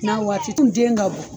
N'a waati tun den ka bon.